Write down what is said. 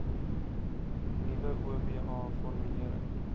nuwe oba formulering